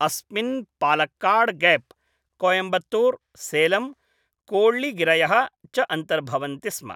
अस्मिन् पालक्काड्गैप्, कोयम्बत्तूर्, सेलम्, कोळ्ळिगिरयः च अन्तर्भवन्ति स्म।